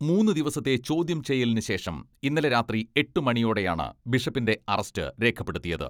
മൂന്ന് ദിവസത്തെ ചോദ്യം ചെയ്യലിനു ശേഷം ഇന്നലെ രാത്രി എട്ട് മണിയോടെയാണ് ബിഷപ്പിന്റെ അറസ്റ്റ് രേഖപ്പെടുത്തിയത്.